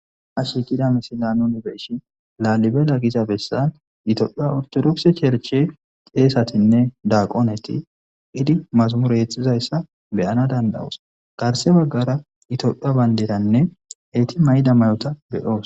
Ashi qida mesilano nibeyshi laalibela giza bessan itolpha ortodokse cherche ceesatinne daaqoneti idi masamure exxizayssa beyana dandawos garse baggara itolpha baynderanne heyti may'da mayota beyoos,